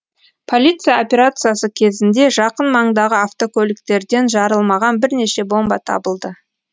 полиция операциясы кезінде жақын маңдағы автокөліктерден жарылмаған бірнеше бомба табылды